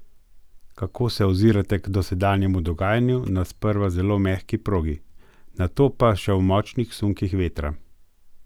Kako se ozirate k dosedanjemu dogajanju na sprva zelo mehki progi, nato pa še v močnih sunkih vetra?